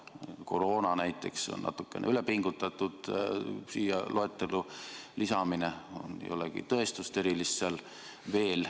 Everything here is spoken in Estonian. Näiteks koroona lisamine siia loetellu on natukene ülepingutatud, sellel ei ole veel erilist tõestust.